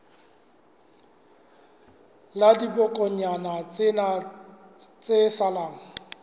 la dibokonyana tsena tse salang